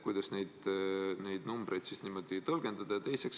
Kuidas neid numbreid niimoodi tõlgendada?